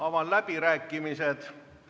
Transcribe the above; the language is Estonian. Avan läbirääkimised.